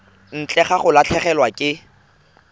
ntle ga go latlhegelwa ke